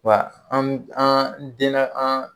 Wa an an te na an